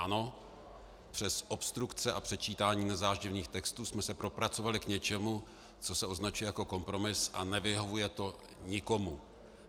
Ano, přes obstrukce a předčítání nezáživných textů jsme se propracovali k něčemu, co se označuje jako kompromis a nevyhovuje to nikomu.